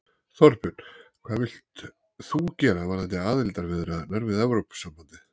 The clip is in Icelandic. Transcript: Þorbjörn: Hvað vilt þú gera varðandi aðildarviðræðurnar við Evrópusambandið?